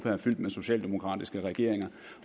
er fyldt med socialdemokratiske regeringer